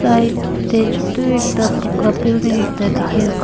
right te teju tu ekta poka building ekta dekhi ase.